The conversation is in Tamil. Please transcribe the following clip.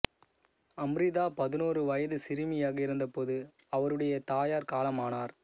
அம்ரிதா பதினோரு வயதுச் சிறுமியாக இருந்தபோது அவருடைய தாயார் காலமானார்